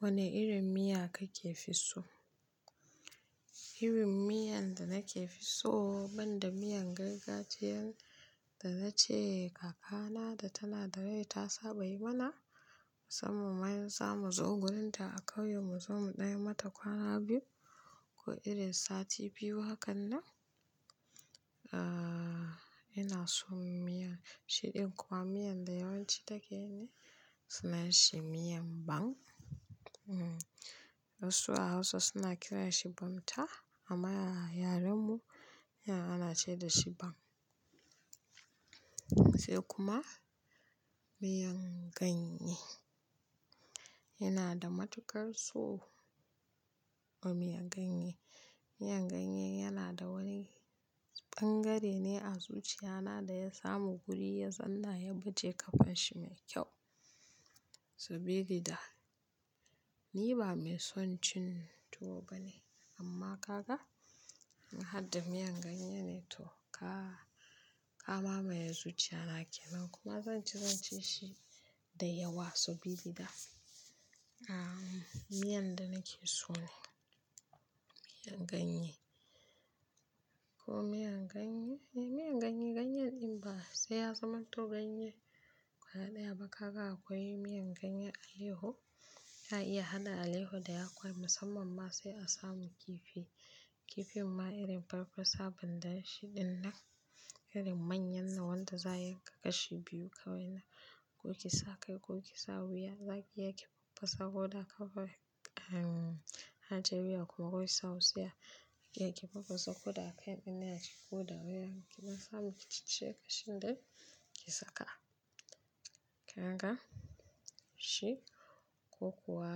Wane irin miya kake fi so? Irin miyan da nake fi so banda miyan gargajiyan da na ce kakana da tana da rai ta saba yi mana, musamman za mu zo wurinta a ƙauyen mu, za mu ɗanyi mata kwana biyu ko irin sati biyu. Hakan nan, a, ina so miyan shidin kuwa miyan da yawanci take yi ne, suna shi miyan ban. Wasu a Hausa suna kira shi bunta amma a yaren mu ana ce dashi ban. Sai kuma miyan ganye yana da matuƙar so. A miyan ganye, miyan ganye yana da wani ɓangare ne a zuciya na da ya samu guri ya tsalla, ya baje ƙafan shi mai kyau. Sabidi da ni ba mai son cin tuwo ba ne amma kaga in har da miyan ganye ne to ka, ka mamaye zuciya na kenan kuma zan ci, zan ci shi da yawa. Sabi da, a, miyan da nake so ne miyan ganye. Ko miyan ganye, miyan ganye, ganyen in ba sai ya zamanto ganye ƙwaya ɗaya ba kaga akwai miyan ganye aleho, ka iya haɗa aleho da yakwa musamman ma sai a samu kifi. Kifi ma irin farfasa banda shidin nan, irin manyan na wanda za'a yanka kashi biyu kawai na, ko ki saka ko ki sa wuya, za ki yanke farfasa ko da aka fara, a, aje wuya kuma wai saausiya. Ki yanke farfasa ko da aka ɓoye ne a cikinta, ko da waya ki na samu ki ci shi kashi ɗaya ki saka. Kaga shi ko kuwa